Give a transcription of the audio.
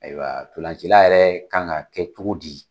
Ayiwa ntolancila yɛrɛ kan ka kɛ cogo di?